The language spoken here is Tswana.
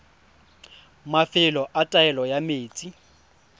mafelo a taolo ya metsi